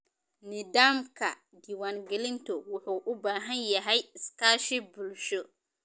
Nidaamka diiwaangelintu wuxuu u baahan yahay iskaashi bulsho.